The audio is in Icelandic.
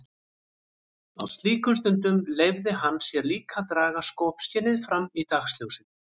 Á slíkum stundum leyfði hann sér líka að draga skopskynið fram í dagsljósið.